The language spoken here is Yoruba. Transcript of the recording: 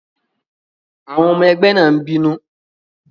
Àwọn ọmọ ẹgbẹ́ náà n bínú